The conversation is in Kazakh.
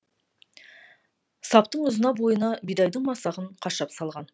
саптың ұзына бойына бидайдың масағын қашап салған